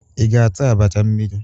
Ị ga-ata abacha mmiri?